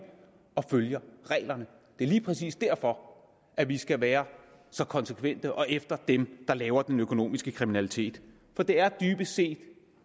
og følger reglerne det er lige præcis derfor at vi skal være så konsekvente og komme efter dem der laver den økonomiske kriminalitet for det er dybest set